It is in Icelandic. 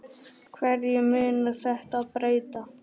Hverju mun þetta breyta?